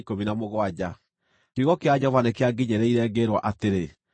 Kiugo kĩa Jehova nĩkĩanginyĩrĩire, ngĩĩrwo atĩrĩ,